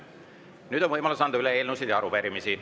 Nüüd on võimalus anda üle eelnõusid ja arupärimisi.